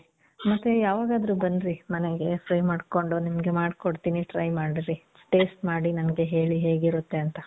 ಮತ್ತೆ ಯಾವಾಗಾದ್ರು ಬನ್ರಿ ಮನೆಗೆ. free ಮಾಡ್ಕೊಂಡು. ನಿಮ್ಗೆ ಮಾಡ್ಕೊಂತೀನಿ. try ಮಾಡ್ರಿ. taste ಮಾಡಿ ನನಿಗೆ ಹೇಳಿ ಹೇಗಿರುತ್ತೆ ಅಂತ.